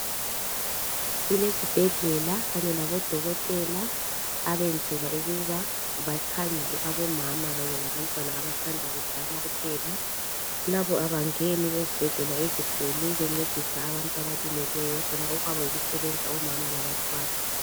Kulezibhedlela kanye labodokotela abenzelwa ukuba bamkhangele omama kanye labantwana abasamda kuzalwa kuphela labo abangeni ezibhedlela ezinkulu bencedisa abantu abalimeleyo bona okwabo yikusebenza omama labantwana.